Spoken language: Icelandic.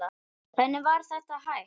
Hvernig var þetta hægt?